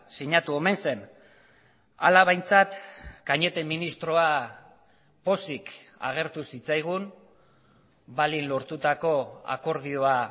sinatu omen zen hala behintzat cañete ministroa pozik agertu zitzaigun balin lortutako akordioa